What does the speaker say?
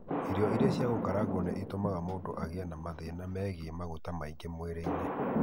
Irio iria cĩa gũkarangwo nĩ itũmaga mũndũ agĩe na mathĩna megiĩ maguta maingĩ mwĩrĩ -ĩnĩ .